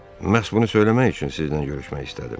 Məhz bunu söyləmək üçün sizdən görüşmək istədim.